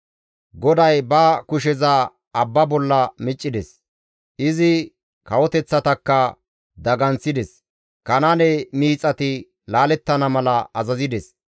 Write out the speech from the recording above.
GODAY ba kusheza abba bolla miccides; izi kawoteththatakka daganththides; Kanaane miixati laalettana mala azazides.